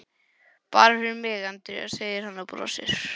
Bara fyrir þig, Andrea, segir hann og brosir.